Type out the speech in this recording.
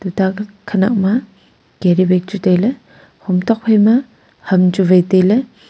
tabat khanak ma carry bag chu tailey hom tok phaima ham chu wai tailey.